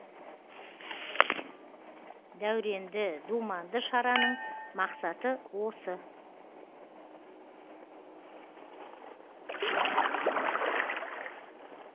дәуренді думанды шараның мақсаты осы